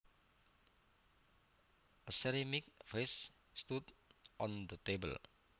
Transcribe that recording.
A ceramic vase stood on the table